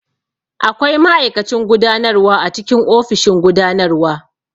Akwai ma'aikacin gudanarwa a cikin ofishin gudanarwa.